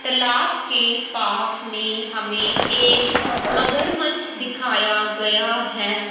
तालाब के पास में हमें एक मगरमच्छ दिखाया गया है।